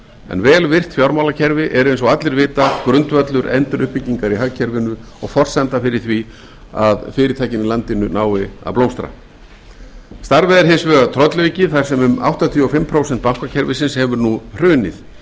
en vel virkt fjármálakerfi er eins og allir vita grundvöllur enduruppbyggingar í hagkerfinu og forsenda fyrir því að fyrirtækin í landinu nái að blómstra starfið er hins vegar tröllaukið þar sem um áttatíu og fimm prósent bankakerfisins hefur nú hrunið